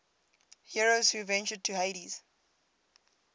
heroes who ventured to hades